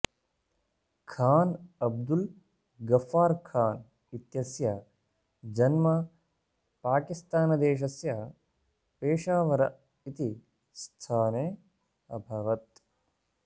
खान् अब्दुल् गफ्फार् खान् इत्यस्य जन्म पाकिस्तानदेशस्य पेशावर इति स्थाने अभवत्